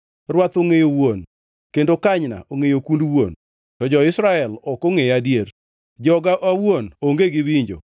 Rwath ongʼeyo wuon, kendo kanyna ongʼeyo kund wuon, to jo-Israel ok ongʼeya adier; joga awuon onge gi winjo.